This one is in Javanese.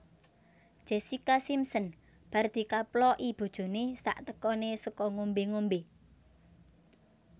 Jessica Simpson bar dikaploki bojone saktekone saka ngombe ngombe